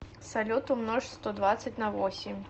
салют умножь сто двадцать на восемь